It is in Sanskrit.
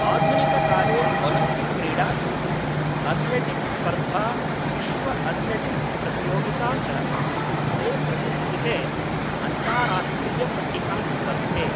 आधुनिककाले ओलम्पिक्क्रीडासु अथलेटिक्स् स्पर्धा विश्वअथलेटिक्स्प्रतियोगिता च इति द्वे प्रतिष्ठिते अन्तार्राष्ट्रीयपट्टिकास्पर्धे